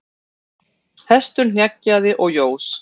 Hestur hneggjaði og jós.